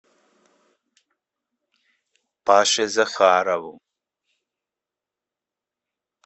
паше захарову